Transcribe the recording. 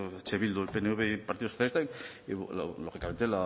eh bildu el pnv y partido socialista lógicamente